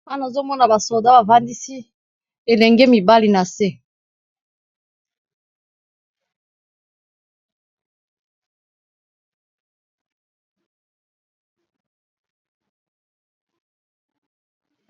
Awa, nazo mona basoda bafandisi bilenge mibali na se.